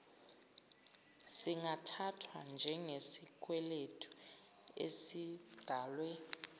singathathwa njengesikweletu esidalwe